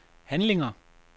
handlinger